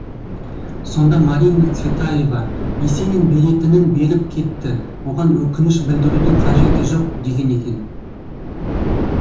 сонда марина цветаева есенин беретінін беріп кетті оған өкініш білдірудің қажеті жоқ деген екен